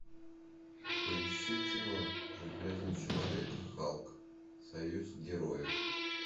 поищи кино железный человек и халк союз героев